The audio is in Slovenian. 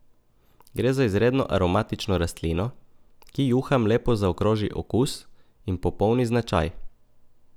Gre za izredno aromatično rastlino, ki juham lepo zaokroži okus in popolni značaj.